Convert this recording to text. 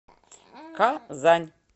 казань